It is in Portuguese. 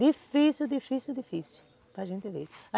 Difícil, difícil, difícil para gente ver.